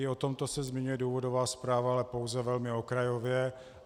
I o tomto se zmiňuje důvodová zpráva, ale pouze velmi okrajově.